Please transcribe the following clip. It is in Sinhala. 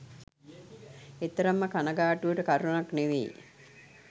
එතරම්ම කණගාටුවට කරැණක් නෙමෙයි.